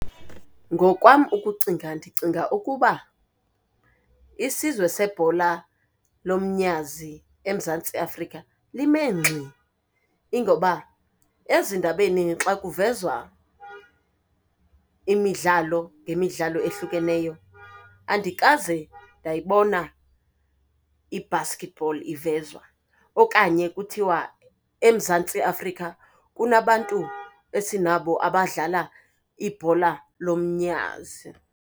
Ngokwam ukucinga, ndicinga ukuba isizwe sebhola lomnyazi eMzantsi Afrika lime ngxi. Ingoba ezindabeni xa kuvezwa imidlalo ngemidlalo ehlukeneyo, andikaze ndayibona i-basketball ivezwa okanye kuthiwa eMzantsi Afrika kunabantu esinabo abadlala ibhola lomnyazi.